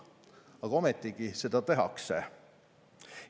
Aga ometigi seda tehakse.